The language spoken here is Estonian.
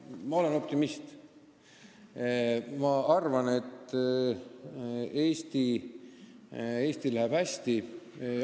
Ma olen optimist, ma arvan, et Eestil läheb hästi.